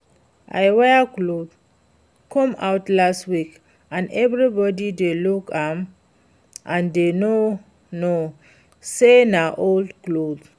I wear cloth come out last week and everybody dey look am and dey no know say na old cloth